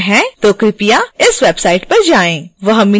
वह मिनट और सेकेंड चुनें जहां आप प्रश्न पूछना चाहते हैं